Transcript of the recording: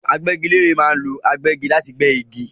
Agbẹ́gilére ma ń lo agbẹ́gi láti gbé igi